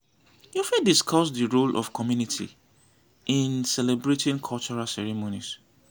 you fit discuss di role of community in celebrating cultural ceremonies.